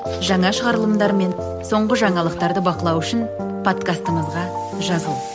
жаңа шығарымдылармен мен соңғы жаңалықтарды бақылау үшін подкастымызға жазыл